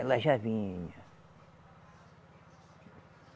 Ela já vinha.